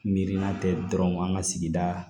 Miirinna tɛ dɔrɔn an ka sigida